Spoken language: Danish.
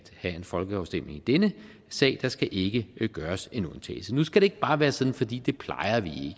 have en folkeafstemning i denne sag der skal ikke gøres en undtagelse nu skal det ikke bare være sådan fordi det plejer vi